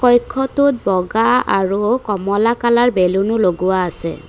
কক্ষটোত বগা আৰু কমলা কালাৰ বেলুনো লগোৱা আছে।